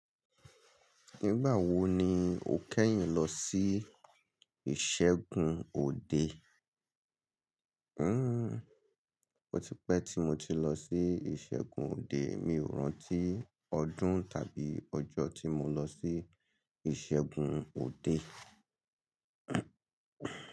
Nígbà wo ni o kẹ́yìn lọ sí ìṣẹ́gun òde? Hmmm! Ó ti pẹ́ tí mo ti lọ sí ìṣẹ́gun òde. Mi ò rántí ọdún tàbí ọjọ́ tí mo lọ sí ìṣẹ́gun òde.